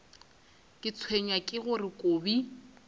ke tshwenywa ke gore kobi